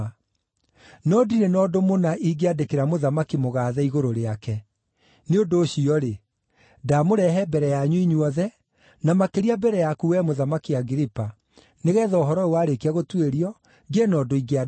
No ndirĩ na ũndũ mũna ingĩandĩkĩra Mũthamaki Mũgaathe igũrũ rĩake. Nĩ ũndũ ũcio-rĩ, ndamũrehe mbere yanyu inyuothe, na makĩria mbere yaku wee Mũthamaki Agiripa, nĩgeetha ũhoro ũyũ warĩkia gũtuĩrio, ngĩe na ũndũ ingĩandĩka.